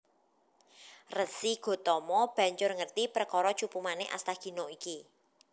Resi Gotama banjur ngerti perkara Cupu Manik Astagina iki